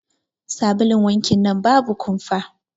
Sabulun wankin nan babu kumfa.